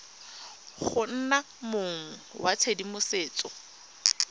go nna mong wa tshedimosetso